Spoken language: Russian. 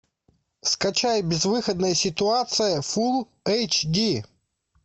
скачай безвыходная ситуация фулл эйч ди